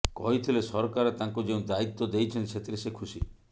କହିଥିଲେ ସରକାର ତାଙ୍କୁ ଯେଉଁ ଦାୟିତ୍ୱ ଦେଇଛନ୍ତି ସେଥିରେ ସେ ଖୁସି